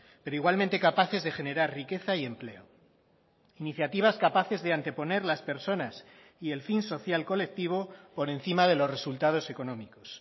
pero igualmente capaces de generar riqueza y empleo iniciativas capaces de anteponer las personas y el fin social colectivo por encima de los resultados económicos